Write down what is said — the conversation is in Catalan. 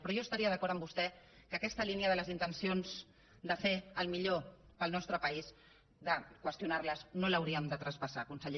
però jo estaria d’acord amb vostè que aquesta línia de les intencions de fer el millor per al nostre país de qüestionar les no l’hauríem de traspassar conseller